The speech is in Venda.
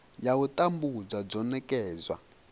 ya u tambudzwa dzo nekedzwa